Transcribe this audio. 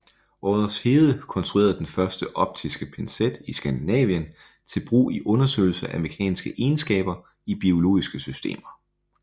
Oddershede konstruerede den første optiske pincet i Skandinavien til brug i undersøgelse af mekaniske egenskaber i biologiske systemer